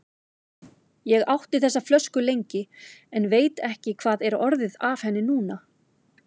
Ég átti þessa flösku lengi, en veit ekki hvað er orðið af henni núna.